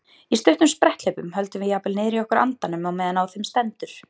Í stuttum spretthlaupum höldum við jafnvel niðri í okkur andanum á meðan á þeim stendur.